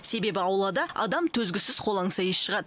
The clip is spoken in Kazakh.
себебі аулада адам төзгісіз қолаңса иіс шығады